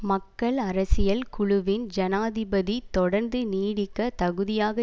மக்கள் அரசியல் குழுவின் ஜனாதிபதி தொடர்ந்து நீடிக்க தகுதியாக